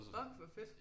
Fuck hvor fedt